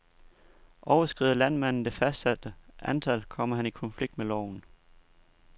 Overskrider landmanden det fastsatte antal, kommer han i konflikt med loven.